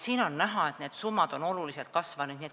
On näha, et need summad on oluliselt kasvanud.